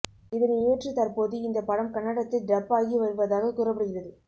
இதனை ஏற்று தற்போது இந்த படம் கன்னடத்தில் டப் ஆகி வருவதாக கூறப்படுகிறது